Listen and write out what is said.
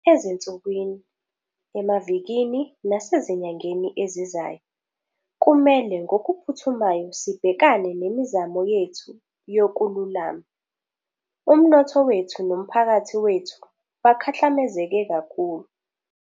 Ezinsukwini, emavikini nasezinyangeni ezizayo, kumele ngokuphuthumayo sibhekane nemizamo yethu yokululama. Umnotho wethu nomphakathi wethu bakhahlamezeke kakhulu.